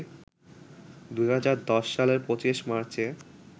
২০১০ সালের ২৫ মার্চে